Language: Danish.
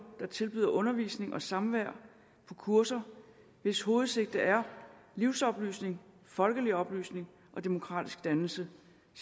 der tilbyder undervisning og samvær på kurser hvis hovedsigte er livsoplysning folkelig oplysning og demokratisk dannelse